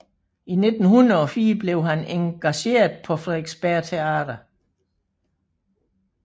I 1904 blev han engageret på Frederiksberg Teater